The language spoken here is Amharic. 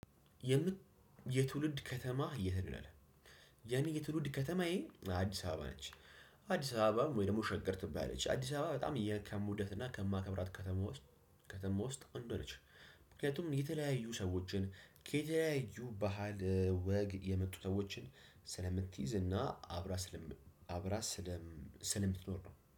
የምት የትውልድ ከተማህ የት ነው ይላል? የኔ የትውልድ ከተማዬ አዲስ አበባ ነች። አዲስ አበባ ወይም ደሞም ሸገር ትባላለች አዲስ አበባ በጣም የ ከምወዳት እና ከማከብራት ከተማ ውስጥ ከተማ ውስጥ አንዱዋ ነች። ምክንያቱም የተለያዩ ሰዎችን ከተለያዩ ባህል ወግ የመጡ ሰዎችን ስለምትይዝ እና አብራ ስለም አብራ ስለም ስለምትኖር ነው